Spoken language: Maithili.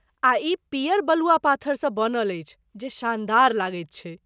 आ ई पियर बलुआ पाथरसँ बनल अछि जे शानदार लगैत छैक।